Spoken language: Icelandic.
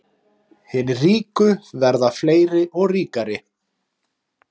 Hinir ríku verða fleiri og ríkari